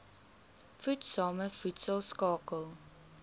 voedsame voedsel skakel